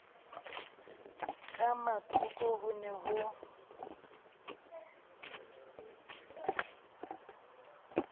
ka mathoko ho ne ho